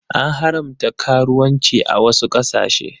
An haramta karuwanci a wasu ƙasashe.